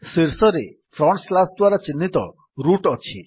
ଶୀର୍ଷରେ root front slash ଦ୍ୱାରା ଚିହ୍ନିତ ଅଛି